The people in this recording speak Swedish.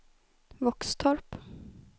Våxtorp